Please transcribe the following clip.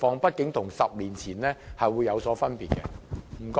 畢竟現在與10年前的情況有所分別。